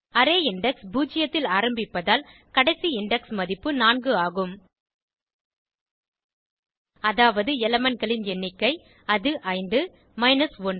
array index பூஜ்ஜியத்தில் ஆரம்பிப்பதால் கடைசி இண்டெக்ஸ் மதிப்பு 4 ஆகும் அதாவது elementகளின் எண்ணிக்கை அது 5 மைனஸ் 1